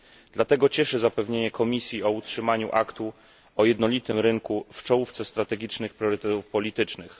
Dlatego cieszy zapewnienie Komisji o utrzymaniu aktu o jednolitym rynku w czołówce strategicznych priorytetów politycznych.